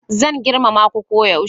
Zan girmama ku koyaushe